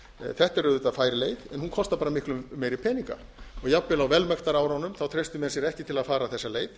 þetta er auðvitað fær leið en hún kostar bara miklu meiri peninga jafnvel á velmektarárunum treystu menn sér ekki til að fara þessa leið